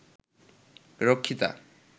রক্ষিতা